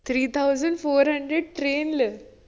three thousad four hundred train ൽ